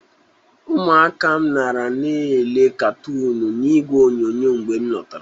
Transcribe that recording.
Ụmụaka m nara na-ele katoọnụ n'igwe onyonyo mgbe m lọtara ọrụ.